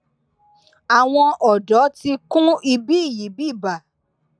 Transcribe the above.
àwọn ọdọ ti kún ibí yìí bíbá